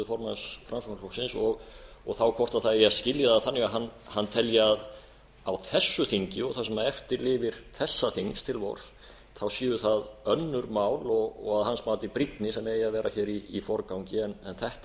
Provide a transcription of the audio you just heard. formanns framsóknarflokksins og þá hvort það eigi á þessu þingi og það sem eftir lifir þessa þings séu það önnur mál og að hans mati brýnni sem eigi að vera hér í forgangi en þetta